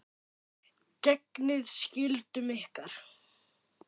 Gegnið skyldum ykkar!